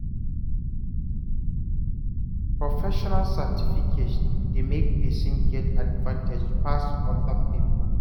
Professional certification dey make pesin get advantage pass other people.